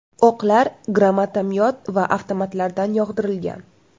O‘qlar granatomyot va avtomatlardan yog‘dirilgan.